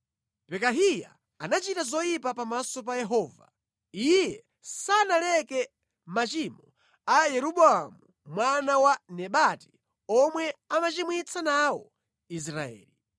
Pekahiya anachita zoyipa pamaso pa Yehova. Iye sanaleke machimo a Yeroboamu mwana wa Nebati, omwe anachimwitsa nawo Israeli.